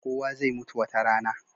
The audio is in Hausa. Kowa zai mutu wata rana.